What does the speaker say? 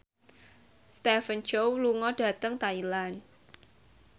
Stephen Chow lunga dhateng Thailand